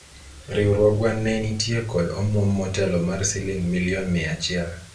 riwruogwa ne nitie kod omwom motelo mar siling milion mia achiel